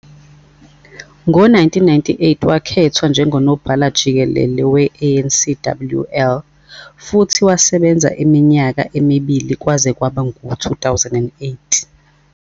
Ngo-1998 wakhethwa njengoNobhala-Jikelele we-ANCWL, futhi wasebenza iminyaka emibili kwaze kwaba ngu-2008.